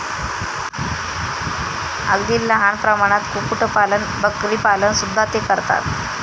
अगदी लहान प्रमाणात कुक्कुट पालन, बकरीपालन सुद्धा ते करतात.